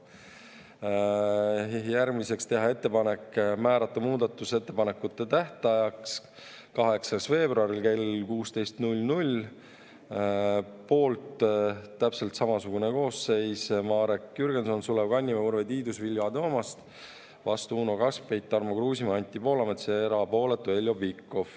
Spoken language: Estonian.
Järgmiseks, teha ettepanek määrata muudatusettepanekute tähtajaks 8. veebruar kell 16 .